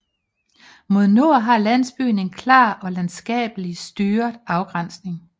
Mod nord har landsbyen en klar og landskabelig styret afgrænsning